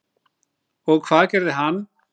Og hvað gerði hann?